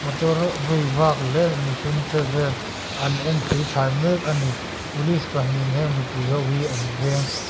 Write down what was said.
motor vei vak leh mihring che vel an en thli thlai mek a ni police pahnihin eng mipui ho hi an veng--